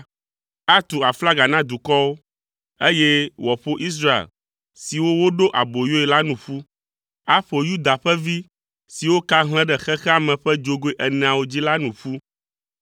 Atu aflaga na dukɔwo, eye wòaƒo Israelvi siwo woɖe aboyoe la nu ƒu. Aƒo Yuda ƒe vi siwo ka hlẽ ɖe xexea me ƒe dzogoe eneawo dzi la nu ƒu.